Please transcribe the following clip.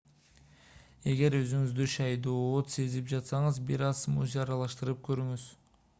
эгер өзүңүздү шаайдоот сезип жатсаңыз бир аз смузи аралаштырып көрүңүз